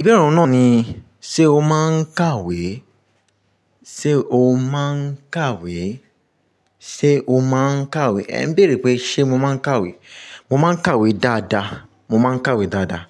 Ìbéèrè ọ̀hun náà ni, ṣe o máa ń kàwé? Ṣe o máa ń kàwé? Ṣe o máa ń kàwé? Ẹ̀ ń béèrè pé ṣe mo máa ń kàwé. Mo máa ń kàwé dáadáa. Mo máa ń kàwé dáadáa.